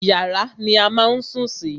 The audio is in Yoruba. Yàrá ni a má a ń sùn sí.